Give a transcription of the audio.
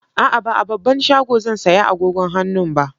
A'a, ba a babban shago zan saya agogon hannun ba.